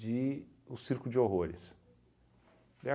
de o circo de horrores. E